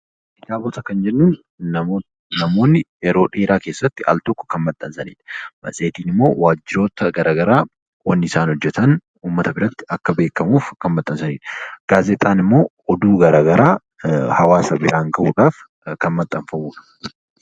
Kitaabota Kan jennun namoonni yeroo dheeraa keessatti al -tokko Kan maxxansaniidha. Matseetiin immoo wajjiroota garagaraa waan isaan hojjetan uummata biratti akka beekamuuf Kan maxxansaniidha. Gaazexaan immoo oduu garagaraa hawaasa biraan gahuudhaaf Kan maxxanfamudha.